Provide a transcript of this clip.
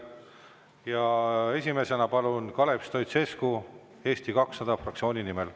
Ja esimesena palun, Kalev Stoicescu, Eesti 200 fraktsiooni nimel.